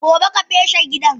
Gobe ka feshe gidan!